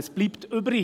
Was bleibt übrig?